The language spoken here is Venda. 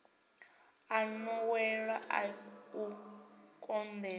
a nḓowelo a u koḽeka